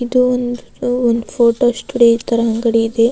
ಇದು ಒಂದು ಒಂದ್ ಫೋಟೋ ಸ್ಟುಡಿಯೋ ತರ ಅಂಗಡಿ ಇದೆ.